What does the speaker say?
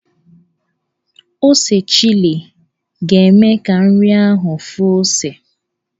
Ose chili ga-eme ka nri ahụ fụọ ose.